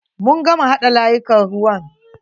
Mun gama haɗa layukan ruwan.